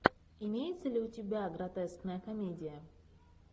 имеется ли у тебя гротескная комедия